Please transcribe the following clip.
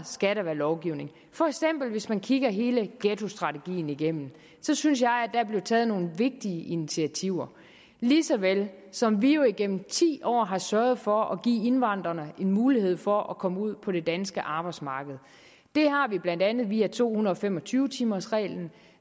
skal være lovgivning hvis man kigger hele ghettostrategien igennem synes jeg at der blev taget nogle vigtige initiativer lige så vel som vi jo igennem ti år har sørget for at give indvandrerne mulighed for at komme ud på det danske arbejdsmarked det har vi blandt andet via to hundrede og fem og tyve timers reglen